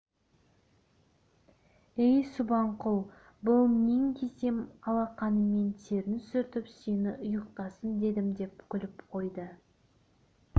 әй субанқұл бұл нең десем алақанымен терін сүртіп сені ұйықтасын дедім деп күліп қойды